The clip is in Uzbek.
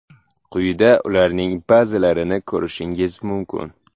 Quyida ularning ba’zilarini ko‘rishingiz mumkin.